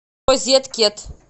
розеткет